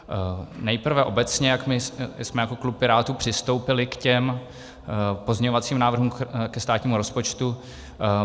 Nejprve obecně, jak my jsme jako klub Pirátů přistoupili k těm pozměňovacím návrhům ke státnímu rozpočtu.